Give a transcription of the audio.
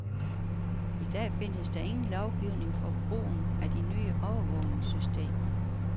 I dag findes der ingen lovgivning for brugen af de nye overvågningssystemer.